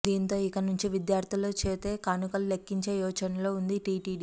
దీంతో ఇక నుంచి విద్యార్ధుల చేతే కానుకలు లెక్కించే యోచనలో ఉంది టీటీడీ